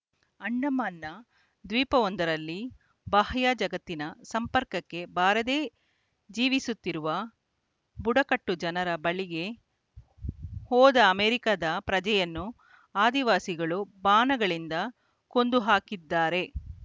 ಅಂಡಮಾನ್‌ನ ದ್ವೀಪವೊಂದರಲ್ಲಿ ಬಾಹ್ಯ ಜಗತ್ತಿನ ಸಂಪರ್ಕಕ್ಕೆ ಬಾರದೇ ಜೀವಿಸುತ್ತಿರುವ ಬುಡಕಟ್ಟು ಜನರ ಬಳಿಗೆ ಹೋದ ಅಮೇರಿಕದ ಪ್ರಜೆಯನ್ನು ಆದಿವಾಸಿಗಳು ಬಾಣಗಳಿಂದ ಕೊಂದುಹಾಕಿದ್ದಾರೆ